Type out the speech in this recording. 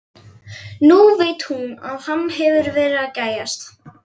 Nú veit hún að hann hefur verið að gægjast.